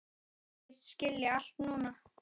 Segist skilja allt núna.